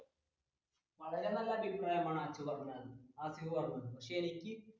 വളരെ നല്ലൊരു അഭിപ്രായമാണ് ഹാസിഫ് പറഞ്ഞത്